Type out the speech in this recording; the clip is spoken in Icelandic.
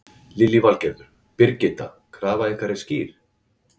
Lillý Valgerður: Birgitta, krafa ykkar er skýr?